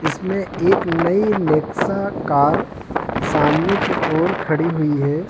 इसमें एक नई नेक्सा कार सामने की ओर खड़ी हुई है।